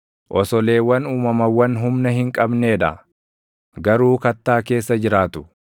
osoleewwan uumamawwan humna hin qabnee dha; garuu kattaa keessa jiraatu;